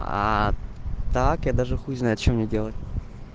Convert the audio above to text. так я даже хуй знает что мне делать